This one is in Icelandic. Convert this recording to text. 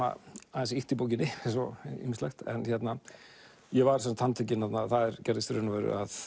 aðeins ýkt í bókinni eins og ýmislegt ég var handtekinn það gerðist í raun og veru